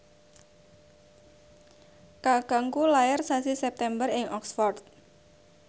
kakangku lair sasi September ing Oxford